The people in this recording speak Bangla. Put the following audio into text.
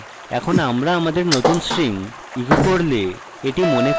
এখন আমরা আমাদের নতুন string echo করলে